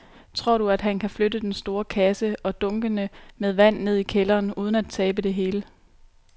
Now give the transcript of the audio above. Tror du, at han kan flytte den store kasse og dunkene med vand ned i kælderen uden at tabe det hele?